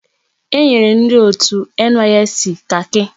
Enyere ndi otu NYSC kaki.